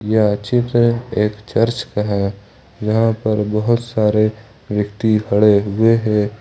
यह चित्र एक चर्च का है जहां पर बहोत सारे व्यक्ति खड़े हुए हैं।